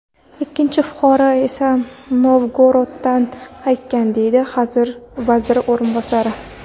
Ikkinchi fuqaro esa Novgoroddan qaytgan”, deydi vazir o‘rinbosari.